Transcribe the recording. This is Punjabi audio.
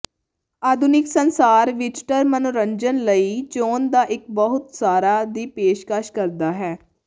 ਆਧੁਨਿਕ ਸੰਸਾਰ ਵਿਜ਼ਟਰ ਮਨੋਰੰਜਨ ਲਈ ਚੋਣ ਦਾ ਇੱਕ ਬਹੁਤ ਸਾਰਾ ਦੀ ਪੇਸ਼ਕਸ਼ ਕਰਦਾ ਹੈ